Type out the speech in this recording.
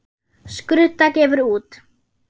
Skrudda gefur út.